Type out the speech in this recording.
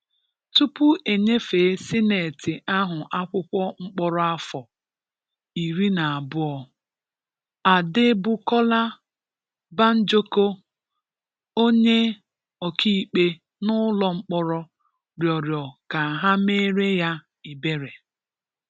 Tụpụ e nyefee Sịnetị ahụ akwụkwọ mkpọrọ afọ iri na anọ, Adebukola Banjoko, onye ọkaikpe n'ụlọ mkpọrọ, rịọrọ ka e meere ya ebere